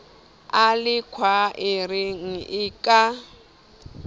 a le khwaereng e ka